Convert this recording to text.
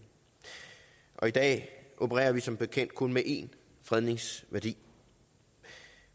i dag opererer vi som bekendt kun med én fredningsværdi